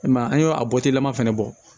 I m'a ye an y'o bɔtilama fana bɔ